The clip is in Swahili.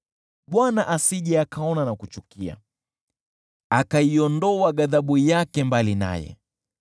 Bwana asije akaona na kuchukia akaiondoa ghadhabu yake mbali naye.